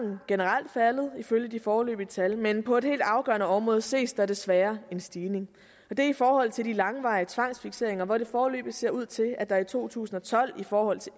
generelt faldet ifølge de foreløbige tal men på et helt afgørende område ses der desværre en stigning det er i forhold til de langvarige tvangsfikseringer hvor det foreløbig ser ud til at der i to tusind og tolv i forhold til